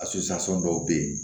dɔw bɛ yen